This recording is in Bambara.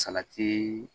Salati